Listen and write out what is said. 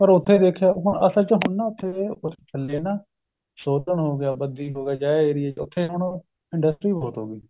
ਪਰ ਉਥੇ ਦੇਖਿਆ ਹੁਣ ਅਸਲ ਹੁਣ ਨਾ ਉਥੇ ਥੱਲੇ ਨਾ ਸੋਧਣ ਹੋ ਗਿਆ ਬੰਦੀ ਹੋ ਗਿਆ ਜਿਹੇ ਏਰੀਏ ਵਿੱਚ ਉਥੇ ਹੁਣ industry ਬਹੁਤ ਹੋ ਗਈ